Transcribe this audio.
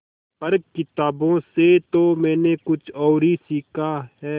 पर किताबों से तो मैंने कुछ और ही सीखा है